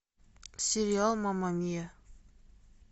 сериал мама миа